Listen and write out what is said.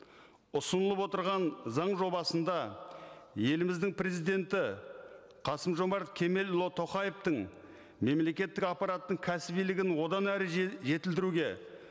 ұсынылап отырған заң жобасында еліміздің президенті қасым жомарт кемелұлы тоқаевтың мемлекеттік аппараттың кәсібилігін одан әрі жетілдіруге